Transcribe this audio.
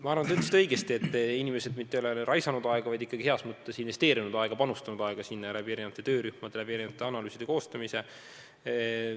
Ma arvan, et te ütlesite õigesti, et inimesed mitte ei ole raisanud aega, vaid on ikkagi heas mõttes kasutanud aega, panustades erinevates töörühmades erinevate analüüside koostamisse.